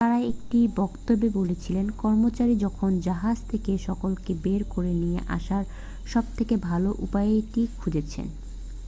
তারা একটি বক্তব্যে বলেছিলেন কর্মচারীরা এখন জাহাজ থেকে সকলকে বের করে নিয়ে আসার সবথেকে ভালো উপায়টি খুঁজছে